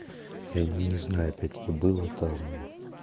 я не знаю опять-таки было там